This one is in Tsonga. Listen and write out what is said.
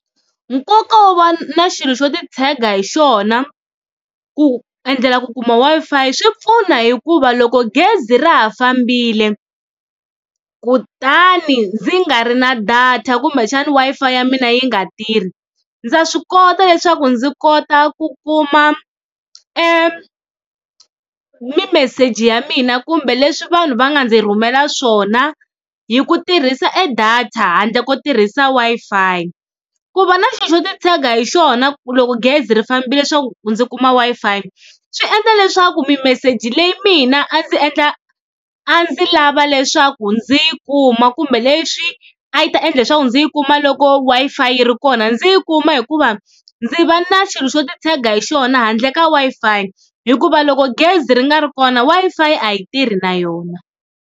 Nkoka wo va na xilo xo titshega hi xona ku endlela ku kuma Wi-Fi swi pfuna hikuva loko gezi ra ha fambile kutani ndzi nga ri na data kumbexana Wi-Fi ya mina yi nga tirhi, ndza swi kota leswaku ndzi kota ku kuma mimeseji ya mina kumbe leswi vanhu va nga ndzi rhumela swona hi ku tirhisa e data handle ko tirhisa Wi-Fi. Ku va na xi xo titshega hi xona ku loko gezi ri fambile leswaku ndzi kuma Wi-Fi swi endla leswaku mimeseji leyi mina a ndzi endla a ndzi lava leswaku ndzi yi kuma kumbe leswi a yi ta endla leswaku ndzi yi kuma loko Wi-Fi yi ri kona, ndzi yi kuma hikuva ndzi va na xilo xo titshega hi xona handle ka Wi-Fi hikuva loko gezi ri nga ri kona Wi-fi a yi tirhi na yona.